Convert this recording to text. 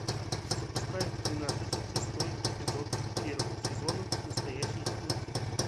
запускай тринадцать шестой эпизод первого сезона настоящий детектив